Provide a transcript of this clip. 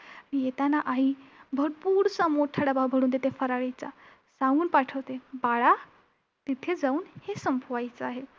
येताना आई भरपूरसा मोठा डबा भरून देते फराळीचा! सांगून पाठवते की बाळा तिथे जाऊन हे संपवायचं आहे.